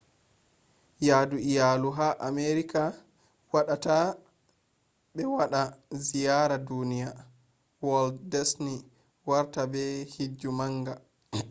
yadu iyalu ha amerika waɗata ɓe waɗa ziyara duniya walt disni warti ba hijju manga